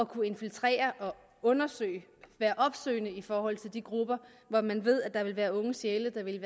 kunne infiltrere og undersøge at være opsøgende i forhold til de grupper hvor man ved at der vil være unge sjæle der vil